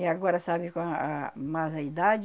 E agora, sabe qual a mais a idade,